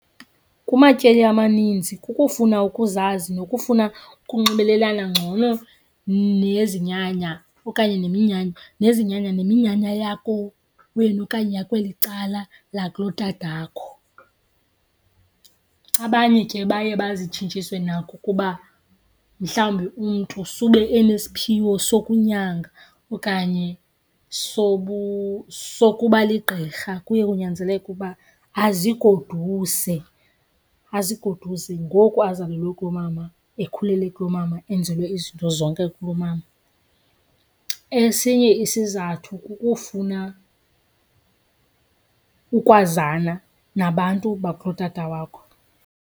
Kumatyeli amaninzi kukufuna ukuzazi nokufuna ukunxibelelana ngcono nezinyanya okanye neminyanya, nezinyanya neminyanya yakowenu okanye yakweli cala lakulotatakho. Abanye ke baye bazitshintshiswe nakukuba mhlawumbi umntu sube enesiphiwo sokunyanga okanye sokuba ligqirha. Kuye kunyanzeleke uba azigoduse, azigoduse ngoku azalelwe kulomama ekhulele kulomama enzelwe izinto zonke kulomama. Esinye isizathu kukufuna ukwazana nabantu bakulotata wakho.